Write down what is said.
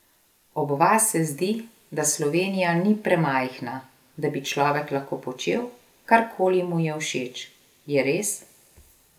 Ob vas se zdi, da Slovenija ni premajhna, da bi človek lahko počel, karkoli mu je všeč, je res?